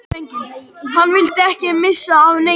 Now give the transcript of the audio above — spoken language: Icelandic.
Hann vildi ekki missa af neinu.